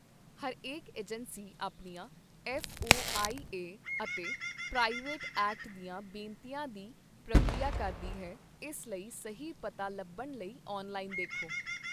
ਹਰੇਕ ਏਜੰਸੀ ਆਪਣੀਆਂ F O I A ਅਤੇ ਪ੍ਰਾਈਵੇਸੀ ਐਕਟ ਦੀਆਂ ਬੇਨਤੀਆਂ ਦੀ ਪ੍ਰਕਿਰਿਆ ਕਰਦੀ ਹੈ, ਇਸ ਲਈ ਸਹੀ ਪਤਾ ਲੱਭਣ ਲਈ ਔਨਲਾਈਨ ਦੇਖੋ।